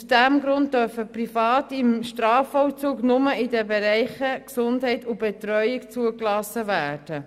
Aus diesem Grund dürfen Private im Strafvollzug nur in den Bereichen Gesundheit und Betreuung zugelassen werden.